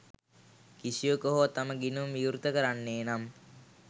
කිසිවකු හෝ තම ගිනුම විවෘත කරන්නේ නම්